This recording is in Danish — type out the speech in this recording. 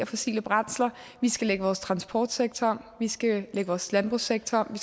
fossile brændsler vi skal lægge vores transportsektor om vi skal lægge vores landbrugssektor om